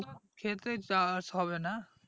খেতে চাষ হবে না